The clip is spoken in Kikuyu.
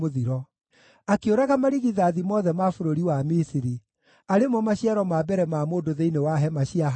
Akĩũraga marigithathi mothe ma bũrũri wa Misiri, arĩ mo maciaro ma mbere ma mũndũ thĩinĩ wa hema cia Hamu.